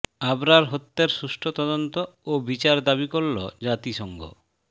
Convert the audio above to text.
আবরার হত্যার সুষ্ঠু তদন্ত ও বিচার দাবি করল জাতিসংঘ